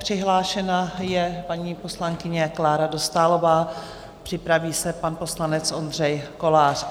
Přihlášena je paní poslankyně Klára Dostálová, připraví se pan poslanec Ondřej Kolář.